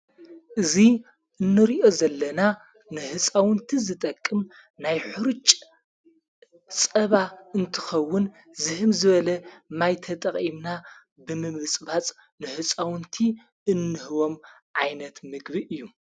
እዙይ እኖርዮ ዘለና ንሕፃውንቲ ዝጠቅም ናይ ሕርጭ ጸባ እንትኸውን ዝሕም ዝበለ ማይተጠቐይምና ብምምብጽባጽ ንሕፃውንቲ እንህቦም ዓይነት ምግቢ እዩ።